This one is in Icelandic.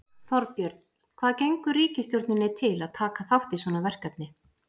Þorbjörn, hvað gengur ríkisstjórninni til að taka þátt í svona verkefni?